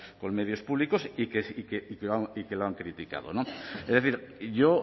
con medios públicos y que lo han criticado es decir yo